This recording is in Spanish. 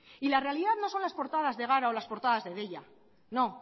y la realidad no son las portadas de gara o las portadas de deia no